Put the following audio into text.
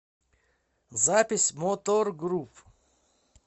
запись моторгрупп